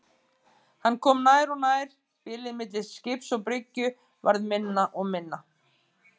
Hann kom nær og nær, bilið milli skips og bryggju varð minna og minna.